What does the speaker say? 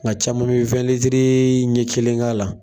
Nka caman bɛ ɲɛ kelennk'a la.